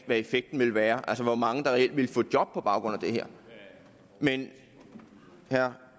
hvad effekten vil være altså hvor mange der reelt ville få job på baggrund af det her men herre